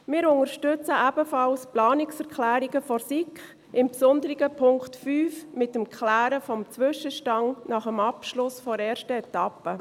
Wir unterstützen ebenfalls die Planungserklärungen der SiK, insbesondere Punkt 5, mit der Klärung des Zwischenstands nach dem Abschluss der ersten Etappe.